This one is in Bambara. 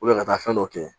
ka taa fɛn dɔ kɛ